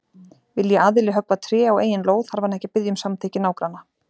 Vilji aðili höggva tré á eigin lóð þarf hann ekki að biðja um samþykki nágranna.